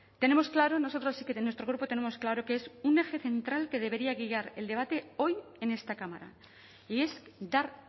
tenemos claro nosotras sí que en nuestro grupo tenemos claro que es un eje central que debería guiar el debate hoy en esta cámara y es dar